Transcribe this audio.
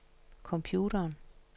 computeren